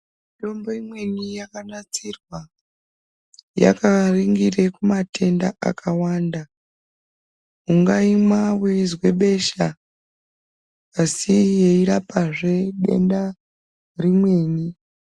Mitombo imweni yakanasirwa yakaringire kumatenda akawanda, ungaimwa weizwa besha asi yeirapazve denda rimweni.